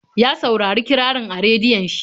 Ya saurari kirarin a rediyon shi.